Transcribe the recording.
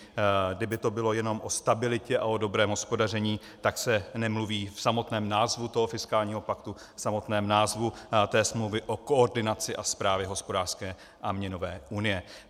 Kdyby to bylo jenom o stabilitě a o dobrém hospodaření, tak se nemluví v samotném názvu toho fiskálního paktu, v samotném názvu té smlouvy, o koordinaci a správě hospodářské a měnové unie.